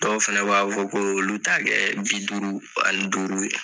Dɔw fana b'a fɔ ko k'olu ta kɛ bi duuru ani duuru ye.